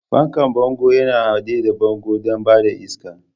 Fankan bango yana haɗe da bango don ba da iska.